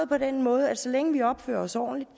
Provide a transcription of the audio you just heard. på den måde at så længe vi opfører os ordentligt